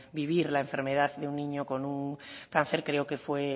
vivir la enfermedad de un niño con un cáncer creo que